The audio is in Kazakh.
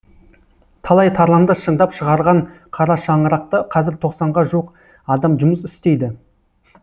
талай тарланды шыңдап шығарған қара шаңырақта қазір тоқсанға жуық адам жұмыс істейді